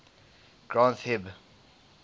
granth hib